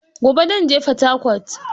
Gobe zan je Fatakwat